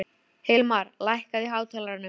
Hilmar, lækkaðu í hátalaranum.